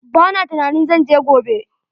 Ba na tunanin zan je gobe.